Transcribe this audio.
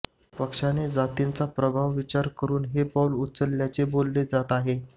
पक्षाने जातींच्या प्रभावाचा विचार करून हे पाऊल उचलल्याचे बोलले जात आहे